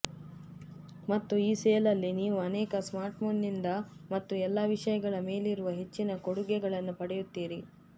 ಮತ್ತು ಈ ಸೇಲಲ್ಲಿ ನೀವು ಅನೇಕ ಸ್ಮಾರ್ಟ್ಫೋನ್ನಿಂದ ಮತ್ತು ಎಲ್ಲಾ ವಿಷಯಗಳ ಮೇಲಿರುವ ಹೆಚ್ಚಿನ ಕೊಡುಗೆಗಳನ್ನು ಪಡೆಯುತ್ತೀರಿ